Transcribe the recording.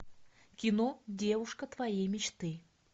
кино девушка твоей мечты